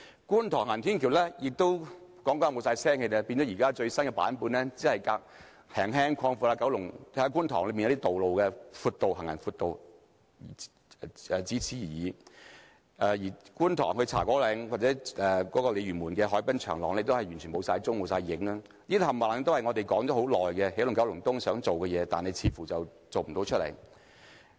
觀塘行人天橋討論多年後，仍然沒有消息，而最新版本只是略為擴闊觀塘的行人路而已，而觀塘至茶果嶺或鯉魚門的海濱長廊，也完全不見蹤影，這些全部都是我們談了很久，希望起動九龍東能夠做到的事情，但似乎都無法做到。